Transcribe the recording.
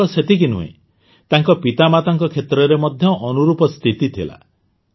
କେବଳ ସେତିକି ନୁହେଁ ତାଙ୍କ ପିତାମାତାଙ୍କ କ୍ଷେତ୍ରରେ ମଧ୍ୟ ଅନୁରୂପ ସ୍ଥିତି ଥିଲା